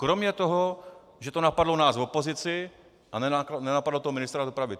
Kromě toho, že to napadlo nás v opozici a nenapadlo to ministra dopravy.